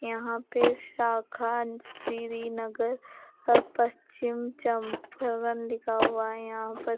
यहां पे शा--